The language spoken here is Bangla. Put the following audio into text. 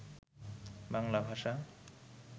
বাংলাভাষা